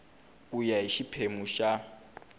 ku ya hi xiphemu xa